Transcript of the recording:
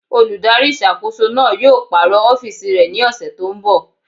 Olùdarí ìṣàkóso náà yóò pàrọ̀ ọ́fìsì rẹ̀ ní ọ̀sẹ̀ tó n bọ̀